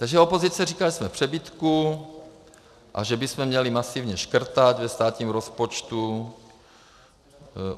Takže opozice říká, že jsme v přebytku a že bychom měli masivně škrtat ve státním rozpočtu.